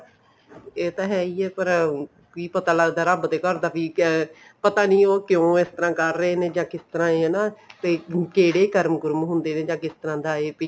ਇਹ ਤਾਂ ਹੈ ਹੀ ਹੈ ਪਰ ਕੀ ਪਤਾ ਲੱਗਦਾ ਵੀ ਰੱਬ ਦੇ ਘਰ ਦਾ ਵੀ ਪਤਾ ਨੀ ਉਹ ਕਿਉਂ ਇਸ ਤਰ੍ਹਾਂ ਕਰ ਰਹੇ ਨੇ ਜਾਂ ਕਿਸ ਤਰ੍ਹਾਂ ਹਨਾ ਤੇ ਕਿਹੜੇ ਕਰਮ ਕੁਰਮ ਹੁੰਦੇ ਨੇ ਜਾਂ ਕਿਸ ਤਰ੍ਹਾਂ ਦੇ ਹੈ